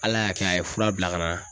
Ala y'a kɛ a ye fura bila ka na.